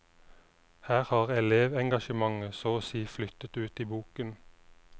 Her har elevengasjementet så å si flyttet ut i boken.